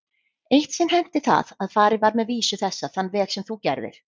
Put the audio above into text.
Eitt sinn henti það að farið var með vísu þessa þann veg sem þú gerðir.